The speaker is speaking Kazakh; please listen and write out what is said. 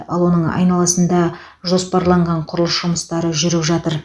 ал оның айналасында жоспарланған құрылыс жұмыстары жүріп жатыр